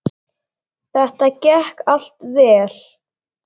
Þetta gekk allt vel.